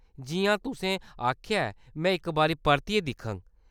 जि'यां तुसें आखेआ ऐ, में इक बारी परतियै दिक्खङ।